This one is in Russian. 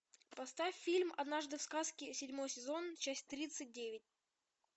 поставь фильм однажды в сказке седьмой сезон часть тридцать девять